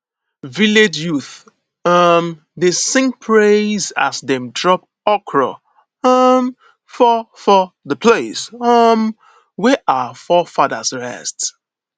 village youths um dey sing praise as dem drop okro um for for the place um wey our forefathers rest